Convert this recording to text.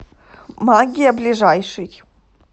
магия ближайший